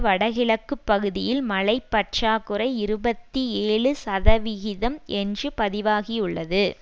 வடகிழக்கு பகுதியில் மழை பற்றாக்குறை இருபத்தி ஏழு சதவிகிதம் என்று பதிவாகியுள்ளது